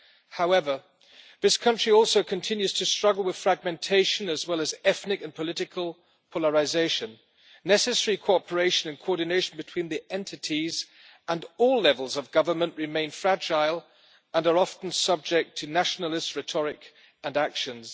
However, this country also continues to struggle with fragmentation, as well as ethnic and political polarisation. Necessary cooperation and coordination between the entities and all levels of government remain fragile and are often subject to nationalist rhetoric and actions.